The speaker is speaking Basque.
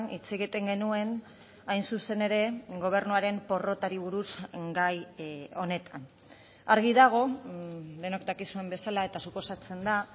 hitz egiten genuen hain zuzen ere gobernuaren porrotari buruz gai honetan argi dago denok dakizuen bezala eta suposatzen da